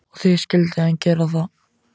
Og því skyldi hann gera það.